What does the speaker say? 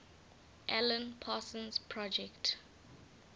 alan parsons project